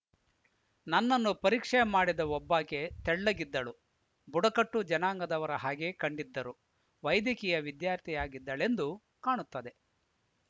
ನನ್ನನ್ನು ಪರೀಕ್ಷೆ ಮಾಡಿದ ಒಬ್ಬಾಕೆ ತೆಳ್ಳಗಿದ್ದಳು ಬುಡಕಟ್ಟು ಜನಾಂಗದವರ ಹಾಗೆ ಕಂಡಿದ್ದರು ವೈದ್ಯಕೀಯ ವಿದ್ಯಾರ್ಥಿಯಾಗಿದ್ದಳೆಂದು ಕಾಣುತ್ತದೆ